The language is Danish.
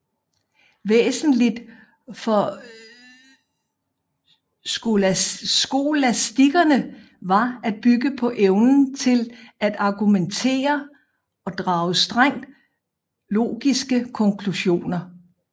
Væsentligt for skolastikerne var at bygge på evnen til at argumentere og drage strengt logiske konklusioner